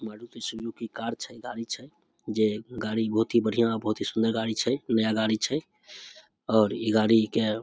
Maruti Suzuki car छै गाड़ी छै जे गाड़ी बहुत ही बढ़िया बहुत ही सुंदर गाड़ी छै नया गाड़ी छे और इ गाड़ी के --